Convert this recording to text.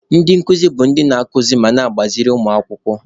Ndị nkuzi bụ ndị na-akụziri ma na-agbaziri ụmụ akwụkwọ.